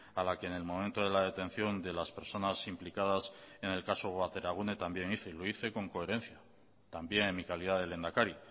a la que en el momento de la detección de las personas implicadas en el caso bateragune y también hice y lo hice con coherencia también en mi calidad de lehendakari